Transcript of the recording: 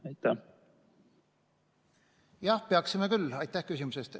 Aitäh küsimuse eest!